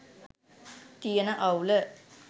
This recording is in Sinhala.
තියන අවුල